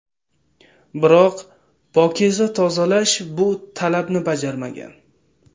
Biroq ‘Pokiza Tozalash’ bu talabni bajarmagan.